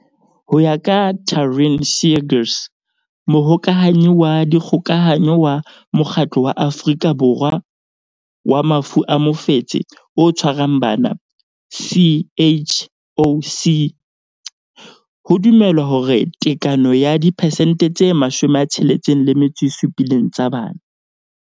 Ho ya ka Taryn Seegers, Mohokahanyi wa Dikgokahanyo wa Mokgatlo wa Afrika Borwa wa Mafu a Mofetshe o Tshwarang Bana, CHOC, ho dumelwa hore tekano ya diphesente tse 67 tsa bana.